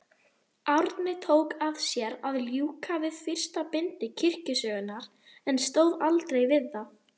Árni tók að sér að ljúka við fyrsta bindi kirkjusögunnar, en stóð aldrei við það.